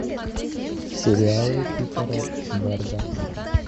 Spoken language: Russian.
сериалы питера берда